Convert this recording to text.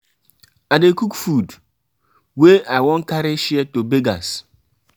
um i dey cook food wey um i wan carry share to beggars.